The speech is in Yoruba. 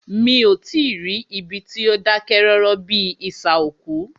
Mí o tí ì rí ibi tí o dákẹ́ rọ́rọ́ bíi isà òkú.